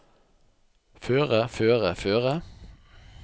føre føre føre